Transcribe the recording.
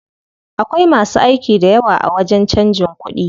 Akwai masu aiki dayawa a wajen canjin kuɗi.